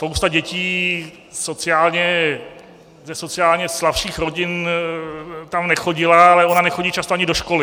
Spousta dětí ze sociálně slabších rodin tam nechodila, ale ona nechodí často ani do školy.